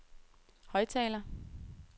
højttaler